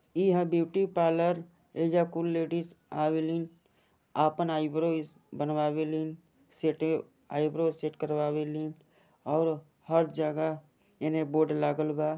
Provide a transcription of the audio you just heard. यहाँ beauty parlour एजा कुल लेडीज अविलली अपन एएब्रो बनवावे ली सेटे एएब्रो सेट करवावे ली और हर जगह इने बोर्ड लागल बा |